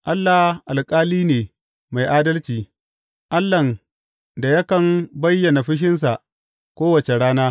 Allah alƙali ne mai adalci, Allahn da yakan bayyana fushinsa kowace rana.